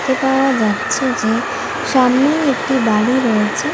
দেখতে পাওয়া যাচ্ছে যে সামনেই একটি বাড়ি রয়েছে।